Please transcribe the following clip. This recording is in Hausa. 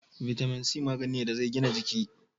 Vitamin c magani ne da zai gina jiki